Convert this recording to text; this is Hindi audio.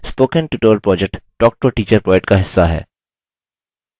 spoken tutorial project talktoateacher project का हिस्सा है